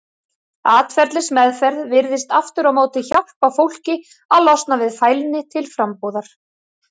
Atferlismeðferð virðist aftur á móti hjálpa fólki að losna við fælni til frambúðar.